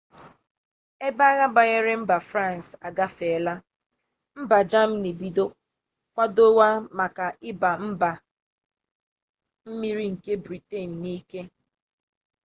ebe agha banyere mba france agafela mba germany ebido kwadowa maka iba mba-mmiri nke britain na-ike